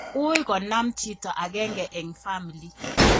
UUi konam chito agenge en family